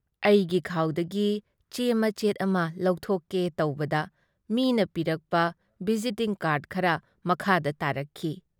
ꯑꯩꯒꯤ ꯈꯥꯎꯗꯒꯤ ꯆꯦ ꯃꯆꯦꯠ ꯑꯃ ꯂꯧꯊꯣꯛꯀꯦ ꯇꯧꯕꯗ ꯃꯤꯅ ꯄꯤꯔꯛꯄ ꯚꯤꯖꯤꯇꯤꯡ ꯀꯥꯔ꯭ꯗ ꯈꯔ ꯃꯈꯥꯗ ꯇꯥꯔꯛꯈꯤ ꯫